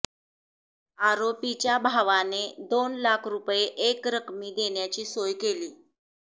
आरोपीच्या भावाने दोन लाख रुपये एकरकमी देण्याची सोय केली